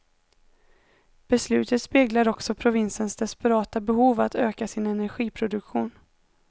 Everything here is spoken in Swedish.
Beslutet speglar också provinsens desperata behov att öka sin energiproduktion.